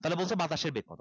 তাইলে বলছে বাতাসের বেগ কত